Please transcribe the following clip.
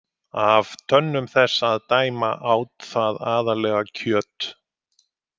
Af tönnum þess að dæma át það aðallega kjöt.